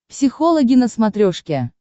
психологи на смотрешке